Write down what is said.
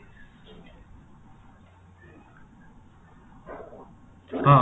ହଁ